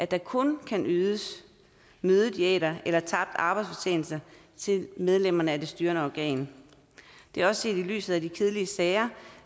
der kun ydes mødediæter eller tabt arbejdsfortjeneste til medlemmerne af det styrende organ det er også set i lyset af de kedelige sager